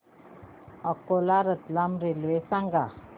Akola Ratlam railway सांगा